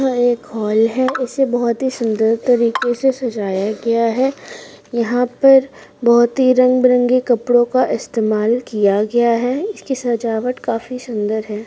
एक हॉल इसे बहुत ही सूंदर तरीके से सजाया गया है यहां पर बहुत ही रंग बिरंगे कपड़ो का इस्तेमाल किआ गया है इसकी सजावट काफी सुन्दर है।